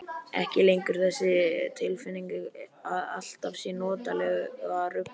Ekki lengur þessi tilfinning að allt sé notalega ruglað.